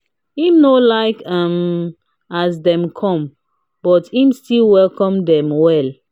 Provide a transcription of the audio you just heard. im no like um as dem come but him still welcome dem well.